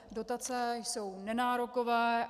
Dotace jsou nenárokové.